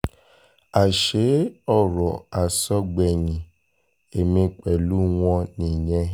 àṣé ọ̀rọ̀ àsọgbẹ̀yìn ẹ̀mí pẹ̀lú wọn nìyẹn